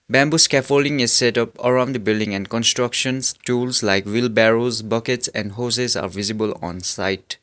bamboo scaffolding is setup around the building and constructions tools like buckets and hoses are visible on site.